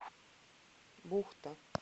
бухта